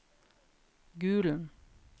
Gulen